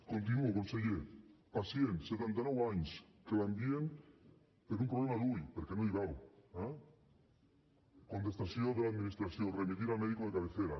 continuo conseller pacient setanta nou anys que l’envien per un problema a l’ull perquè no hi veu eh contestació de l’administració remitir al médico de cabecera